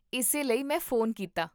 ਇਸੇ ਲਈ ਮੈਂ ਫ਼ੋਨ ਕੀਤਾ